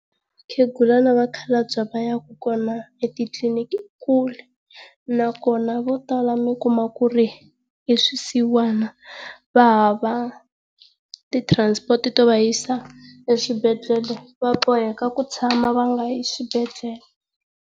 na vakhalabya va yaka kona etitliliniki i kule, nakona vo tala mi kuma ku ri i swisiwana, va hava ti transport to va yisa eswibedhlele, va boheka ku tshama ya nga yi eswibedhlele.